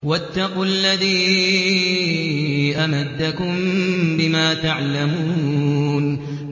وَاتَّقُوا الَّذِي أَمَدَّكُم بِمَا تَعْلَمُونَ